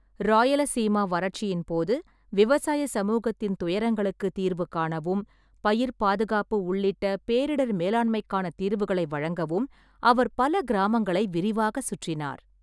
ராயலசீமா வறட்சியின் போது, விவசாயச் சமூகத்தின் துயரங்களுக்கு தீர்வு காணவும், பயிர்ப் பாதுகாப்பு உள்ளிட்ட பேரிடர் மேலாண்மைக்கான தீர்வுகளை வழங்கவும் அவர் பல கிராமங்களை விரிவாகச் சுற்றினார்.